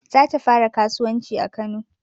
Za ta fara kasuwanci a kano